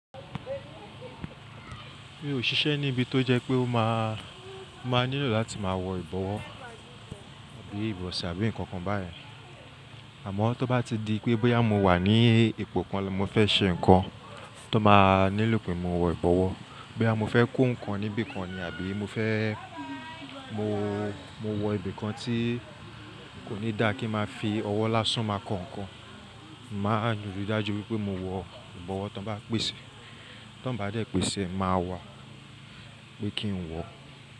Mi ò ṣiṣẹ́ níbi tó jẹ pé ó má, má nilo láti má wọ ìbọ̀wọ́ àbí ìbọ̀sẹ̀ àbí nǹkan kan báyen Àmọ́ tó bá ti di pé bóyá mo wà ní ipò kan lọ, mo fẹ́ ṣe nǹkan tó má nilo pé mo wọ ìbọ̀wọ́, bóyá mo fẹ́ kó nǹkan níbi kan ni àbí mo fẹ́ mo, mo wọ ibi kan tí kò ní dá kí má fi ọwọ́ lásán máa kọ ǹkan, màá n ri dájú wípé mo wọ ìbọ̀wọ́ tó bá pèsè. Tó n bá dẹ́ pèsè, màá wá pé kí n wọ.